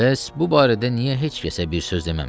Bəs bu barədə niyə heç kəsə bir söz deməmisiz?